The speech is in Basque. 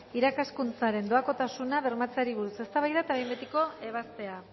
irakaskuntzaren doakotasuna bermatzeari buruz eztabaida eta behin betiko ebazpena